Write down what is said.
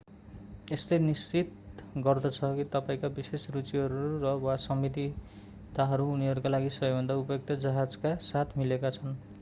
यसले निश्चित गर्दछ कि तपाईंका विशेष रुचिहरू र वा सीमितताहरू उनीहरूका लागि सबैभन्दा उपयुक्त जहाजका साथ मिलेका छन्